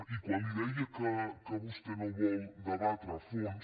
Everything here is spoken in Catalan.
i quan li deia que vostè no vol debatre a fons